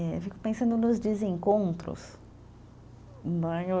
E eu fico pensando nos desencontros.